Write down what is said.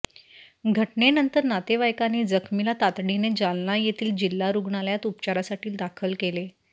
घटनेनंतर नातेवाईकांनी जखमीला तातडीने जालना येथील जिल्हा रुग्णालयात उपचारासाठी दाखल केले